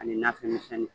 Ani nafɛn misɛnnin